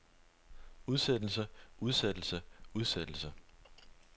udsættelse udsættelse udsættelse